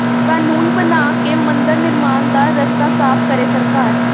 ਕਾਨੂੰਨ ਬਣਾ ਕੇ ਮੰਦਰ ਨਿਰਮਾਣ ਦਾ ਰਸਤਾ ਸਾਫ਼ ਕਰੇ ਸਰਕਾਰ